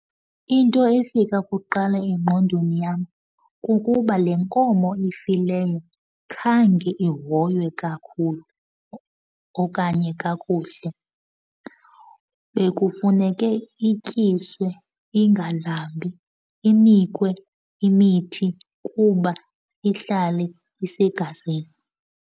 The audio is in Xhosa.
Into efika kuqala engqondweni yam kukuba le nkomo ifileyo khange ihoywe kakhulu okanye kakuhle. Bekufuneke ityiswe, ingalambi, inikwe imithi kuba ihlale isegazini.